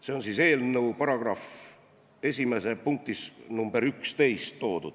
See on toodud eelnõu § 1 punktis nr 11.